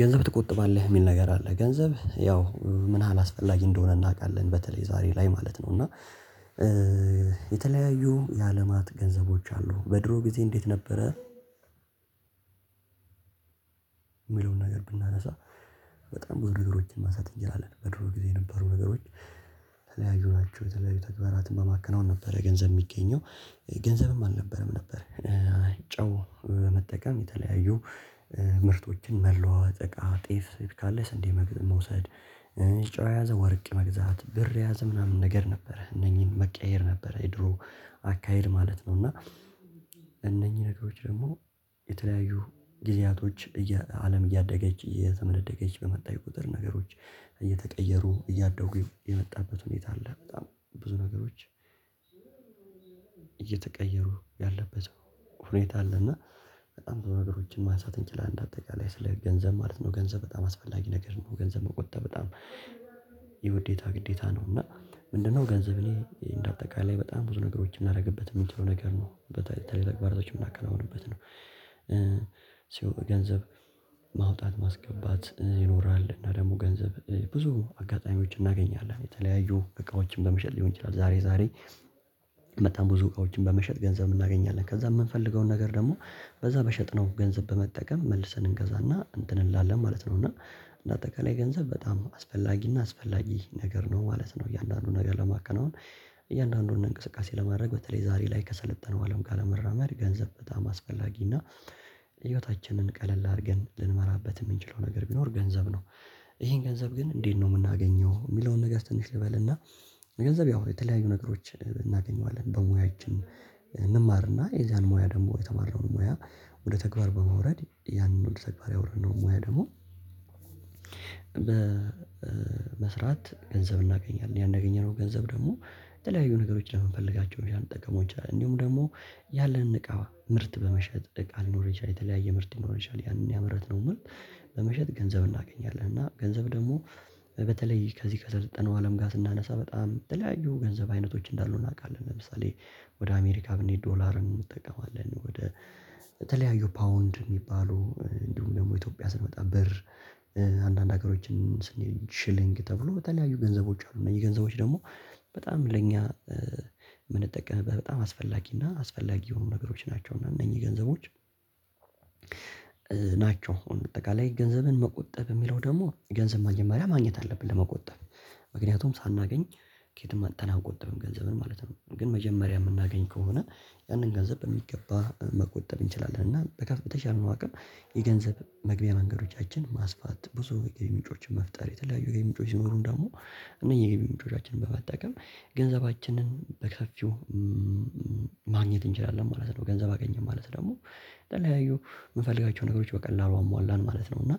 ገንዘብ ትቆጥባለህ የሚል ነገር አለ ገንዘብ ያው ምን ያህል አስፈላጊ እንደሆነ እናውቃለን በተለይ ዛሬ ላይ ማለት ነው። እና የተለያዩ የአለማት ገንዘቦች አሉ በድሮ ጊዜ እንዴት ነበረ? የሚለውን ነገር ብናነሳ በጣም ብዙ ነገሮችን ማሳደግ እንችላለን በድሮ ጊዜ የነበሩ ነገሮች። የተለያዩ ናቸው የተለያዩ ተግባራትን በማከናወን ነበረ ገንዘብ የሚገኘው ገንዘብም አልነበረም ነበር። ጨው በመጠቀም የተለያዩ ምርቶችን መለዋወጥ እቃ ጤፍ ካለ ስንዴ መውሰድ ጨው የያዘ ወርቅ መግዛት ብር የያዘ ምናምን ነገር ነበረ እነኚህን መቀየር ነበር የድሮ አካሄድ ማለት ነው። እና እነኚህ ነገሮች ደግሞ የተለያዩ ጊዜያቶች አለም እያደገች እየተመነደገች በመጣች ቁጥር ነገሮች እየተቀየሩ እያደጉ የመጣበት ሁኔታ አለ። በጣም ብዙ ነገሮች። እየተቀየሩ ያለበት ሁኔታ አለና በጣም ብዙ በነገሮችን ማንሳት እንችላለን እንደ አጠቃላይ ስለ ገንዘብ ማለት ነው። ገንዘብ በጣም አስፈላጊ ነገር ነው። ገንዘብ መቆጠብ በጣም የውዴታ ግዴታ ነው። ምንድን ነው? ገንዘብ እኔ እንደ አጠቃላይ በጣም ብዙ ነገሮች ልናደርግበት የምንችለው ነገር ነው የተለያዩ ተግባራቶች የምናከናውንበት ነው። ማውጣት ማስገባት ይኖራል እና ደግሞ ገንዘብ ብዙ አጋጣሚዎች እናገኛለን የተለያዩ እቃዎችም በመሸጥ ሊሆን ይችላል። ዛሬ ዛሬ በጣም ብዙ እቃዎችን በመሸጥ ገንዘብ እናገኛለን ከዛ የምንፈልገውን ነገር ደግሞ በዛ በሸጥነው ገንዘብ በመጠቀም መልሰን እንገዛና እንትን እንላለን ማለት ነው። እና እንደ አጠቃላይ ገንዘብ በጣም አስፈላጊና አስፈላጊ ነገር ነው ማለት ነው። እያንዳንዱን ነገር ለማከናወን እያንዳንዱን እንቅስቃሴ ለማድረግ በተለይ ዛሬ ላይ ከሰለጠነው አለም ጋር ለመራመድ ገንዘብ በጣም አስፈላጊ እና ህይወታችንን ቀለል አድርገን ልንመራበት የምንችለው ነገር ቢኖር ገንዘብ ነው። ይሄን ገንዘብ ግን እንዴት ነው የምናገኘው? የሚለውን ነገር ትንሽ ልበልና። ገንዘብ ያው የተለያዩ ነገሮች እናገኘዋለን በሙያችን እንማርና የዛን ሙያ ደግሞ የተማረውን ሙያ ወደ ተግባር በመውረድ ያንን ወደ ተግባር ያወርድነው ሙያ ደግሞ በመስራት ገንዘብ እናገኛለን። ያን ያገኘነውን ገንዘብ ደግሞ የተለያዩ ነገሮች ለምንፈልጋቸው ልንጠቀመው እንችላለን። እንዲሁም ደግሞ ያለንን እቃ ምርት በመሸጥ እቃ ሊኖር ይችላል የተለያየ ምርት ሊኖረን ይችላል ያንን ያመረትነው ምርት በመሸጥ ገንዘብ እናገኛለን። እና ገንዘብ ደግሞ በተለይ ከዚህ ከሰለጠነው አለም ጋር ስናነሳ በጣም የተለያዩ ገንዘብ አይነቶች እንዳሉ እናውቃለን። ለምሳሌ ወደ አሜሪካ ብንሄድ ዶላር እንጠቀማለን ወደ ተለያዩ ፓውንድ የሚባሉ እንዲሁም ደግሞ ኢትዮጵያ ስንመጣ ብር አንዳንድ ሀገሮችም ስንሄድ ሽልንግ ተብሎ የተለያዩ ገንዘቦች አሉ። እነኚህ ገንዘቦች ደግሞ በጣም ለእኛ የምንጠቀምበት በጣም አስፈላጊ እና አስፈላጊ የሆኑ ነገሮች ናቸው። እና እነኚህ ገንዘቦች ናቸው። አሁን በአጠቃላይ ገንዘብን መቆጠብ የሚለው ደግሞ ገንዘብ መጀመሪያ ማግኘት አለብን ለመቆጠብ ምክንያቱም ሳናገኝ ከየትም አምጥተን አንቆጥብም። ገንዘብን ማለት ነው ግን መጀመሪያ የምናገኝ ከሆነ ያንን ገንዘብ በሚገባ መቆጠብ እንችላለን። እና በተቻለ አቅም የገንዘብ መግቢያ መንገዶቻችን ማስፋት ብዙ ግቢ ምንጮችን መፍጠር የተለያዩ ግቢ ምንጮች ሲኖሩን ደግሞ እነዚህ የገቢ ምንጮቻችንን በመጠቀም ገንዘባችንን በሰፊው ማግኘት እንችላለን ማለት ነው። ገንዘብ አገኘን ማለት ደግሞ የተለያዩ የምፈልጋቸው ነገሮች በቀላሉ አሟላን ማለት ነው። እና